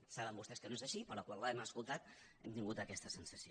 saben vostès que no és així però quan l’hem escoltat hem tingut aquesta sensació